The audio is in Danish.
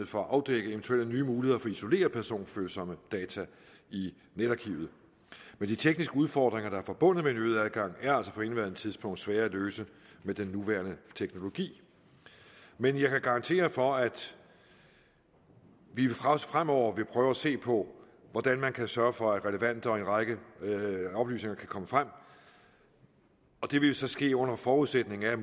for at afdække eventuelle nye muligheder for at isolere personfølsomme data i netarkivet men de tekniske udfordringer der er forbundet med en øget adgang er altså på indeværende tidspunkt svære at løse med den nuværende teknologi men jeg kan garantere for at vi også fremover vil prøve at se på hvordan man kan sørge for at relevante oplysninger kan komme frem og det vil jo så ske under forudsætning af at